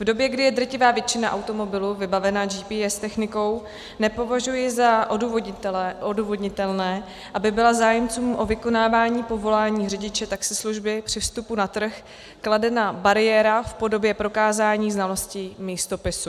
V době, kdy je drtivá většina automobilů vybavena GPS technikou, nepovažuji za odůvodnitelné, aby byla zájemcům o vykonávání povolání řidiče taxislužby při vstupu na trh kladena bariéra v podobě prokázání znalostí místopisu.